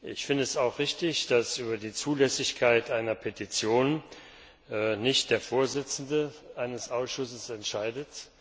Ich finde es auch richtig, dass über die Zulässigkeit einer Petition nicht der Vorsitzende eines Ausschusses entscheidet.